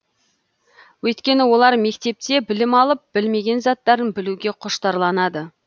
өйткені олар мектепте білім алып білмеген заттарын білуге құштарланады